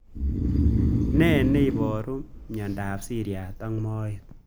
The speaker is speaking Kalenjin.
Ne niaparu miandop siriat ab moet